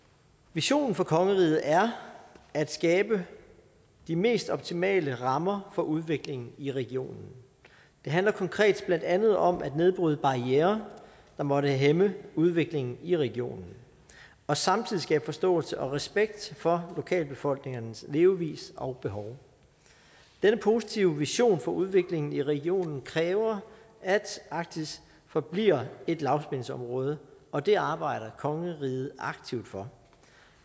visionen for kongeriget er at skabe de mest optimale rammer for udvikling i regionen det handler konkret blandt andet om at nedbryde barrierer der måtte hæmme udvikling i regionen og samtidig skabe forståelse og respekt for lokalbefolkningernes levevis og behov denne positive vision for udviklingen i regionen kræver at arktis forbliver et lavspændingsområde og det arbejder kongeriget aktivt for